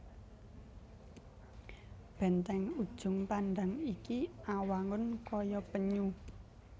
Bèntèng Ujung Pandang iki awangun kaya penyu